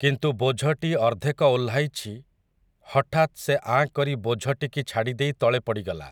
କିନ୍ତୁ ବୋଝଟି ଅର୍ଦ୍ଧେକ ଓହ୍ଲାଇଚି ହଠାତ୍ ସେ ଆଁ କରି ବୋଝଟିକି ଛାଡ଼ି ଦେଇ ତଳେ ପଡ଼ିଗଲା ।